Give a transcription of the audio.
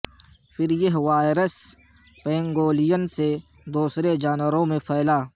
پھر یہ virus pangolin سے دوسرے جانوروں میں پھیلا